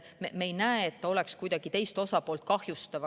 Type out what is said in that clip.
Me ei näe, et see oleks kuidagi teist osapoolt kahjustav.